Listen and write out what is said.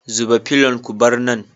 Zuba felun ku bar nan